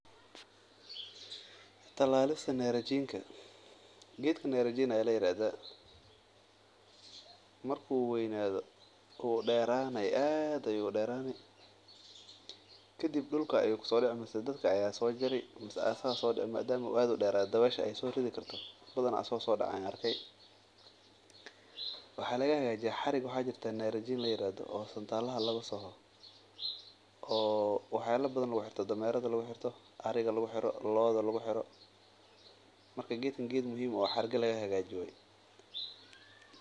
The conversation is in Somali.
Talalista narajinta, geedkan narajin ayaa ladahaa wuu deerani kadib wuu so dici waxaa laga hagajiya xarig narajin ladoho oo looada daneeraha lagu xirto, marka geedkan geed xirgaha laga hagaajiyo waye.